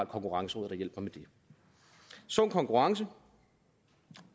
konkurrenceråd der hjælper med det sund konkurrence